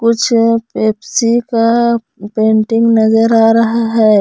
कुछ पेप्सी का पेंटिंग नजर आ रहा है।